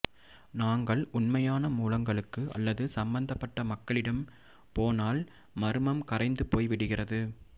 நாங்கள் உண்மையான மூலங்களுக்கு அல்லது சம்பந்தப்பட்ட மக்களிடம் போனால் மர்மம் கரைந்து போய் விடுகிறது